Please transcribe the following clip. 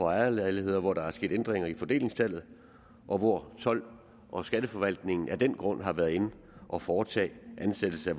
ejerlejligheder hvor der er sket ændringer i fordelingstallet og hvor told og skatteforvaltningen af den grund har været inde at foretage en ansættelse